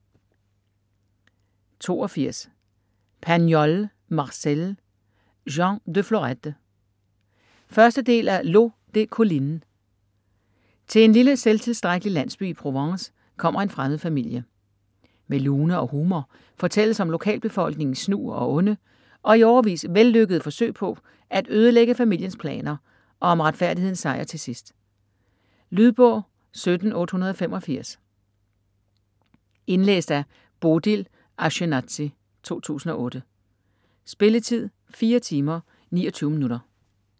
82 Pagnol, Marcel: Jean de Florette 1. del af L'eau des collines. Til en lille selvtilstrækkelig landsby i Provence kommer en fremmed familie. Med lune og humor fortælles om lokalbefolkningens snu og onde - og i årevis vellykkede - forsøg på at ødelægge familiens planer og om retfærdighedens sejr til sidst. Lydbog 17885 Indlæst af Bodil Ashjenazy, 2008. Spilletid: 4 timer, 29 minutter.